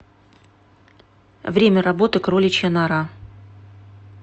время работы кроличья нора